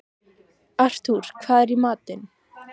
Artúr, hvað er í matinn?